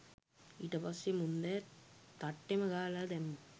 ඊට පස්සේ මුන්දෑ තට්ටෙම ගාලා දැම්මා